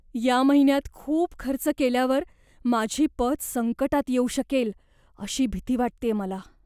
या महिन्यात खूप खर्च केल्यावर माझी पत संकटात येऊ शकेल अशी भीती वाटतेय मला.